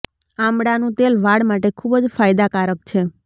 આમળાનું તેલ વાળ માટે ખૂબ જ ફાયદાકારક છે